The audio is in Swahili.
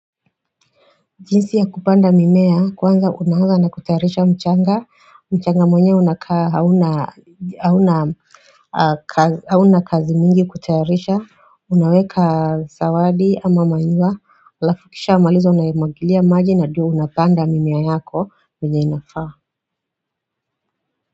Jinsi ya kupanda mimea kwanza unaanza na kutayarisha mchanga, mchanga mwenyewe unakaa hauna hauna kazi mingi kutayarisha, unaweka sawadi ama manure, alafu ukisha maliza unaimwagilia maji na diyo unapanda mimea yako venye inafaa.